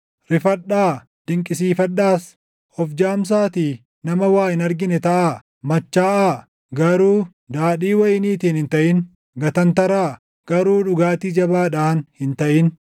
Rifadhaa; dinqisiifadhaas; of jaamsaatii nama waa hin argine taʼaa; machaaʼaa; garuu daadhii wayiniitiin hin taʼin; gatantaraa; garuu dhugaatii jabaadhaan hin taʼin.